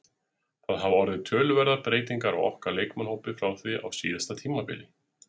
Það hafa orðið töluverðar breytingar á okkar leikmannahópi frá því á síðasta tímabili.